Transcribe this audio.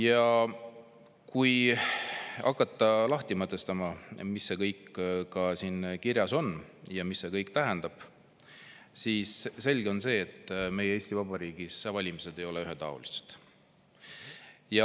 Ja kui hakata lahti mõtestama, mis siin kõik kirjas on ja mida see kõik tähendab, siis on selge, et meil Eesti Vabariigis valimised ei ole ühetaolised.